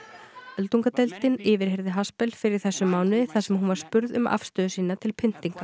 öldungadeildin yfirheyrði fyrr í þessum mánuði þar sem hún var spurð um afstöðu sína til pyntinga